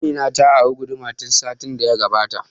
Amina ta ari guduma ta satin da ya gabata